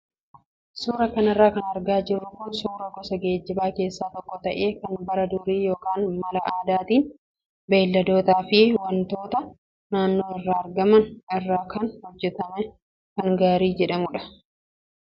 Suuraa kanarra kan argaa jirru kun suuraa gosa geejjibaa keessaa tokko ta'ee kan bara durii yookaan mala aadaatiin beeyladootaa fi wantoota naannoo irraa argaman irraa kan hojjatame kan gaarii jedhamudha.